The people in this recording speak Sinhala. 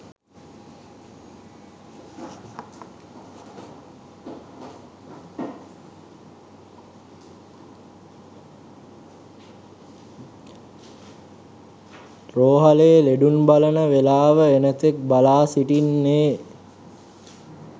රෝහලේ ලෙඩුන් බලන වේලාව එනතෙක් බලා සිටින්නේ